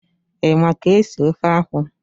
Ị ma ka esi ofe akwụ?